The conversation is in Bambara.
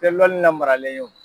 tɛ lɔnni lamaralen ye o.